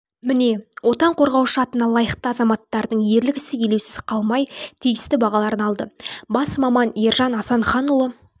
міне отан қорғаушы атына лайықты азаматтардың ерлік ісі елеусіз қалмай тиісті бағаларын алды бас маманержан асанханұлы